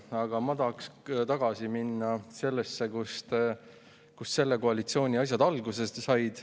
Aga ma tahaksin ikkagi tagasi minna sellesse aega, kust selle koalitsiooni asjad alguse said.